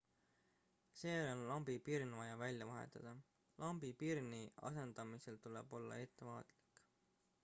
seejärel on vaja lambipirn välja vahetada lambipirni asendamisel tuleb olla ettevaatlik